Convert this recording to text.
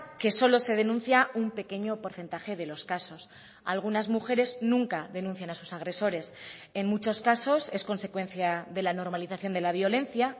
que solo se denuncia un pequeño porcentaje de los casos algunas mujeres nunca denuncian a sus agresores en muchos casos es consecuencia de la normalización de la violencia